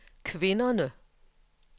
kvinderne